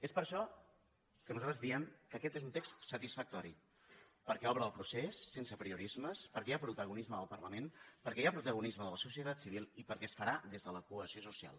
és per això que nosaltres diem que aquest és un text satisfactori perquè obre el procés sense apriorismes perquè hi ha protagonisme del parlament perquè hi ha protagonisme de la societat civil i perquè es farà des de la cohesió social